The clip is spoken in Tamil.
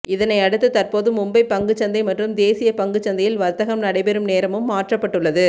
இதனையடுத்து தற்போது மும்பை பங்குச் சந்தை மற்றும் தேசிய பங்குச் சந்தையில் வர்த்தகம் நடைபெறும் நேரமும் மாற்றப்பட்டுள்ளது